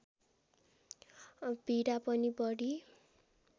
पीडा पनि बढी